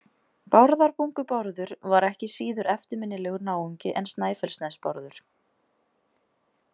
Bárðarbungu-Bárður var ekki síður eftirminnilegur náungi en Snæfellsnes-Bárður.